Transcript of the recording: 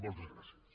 moltes gràcies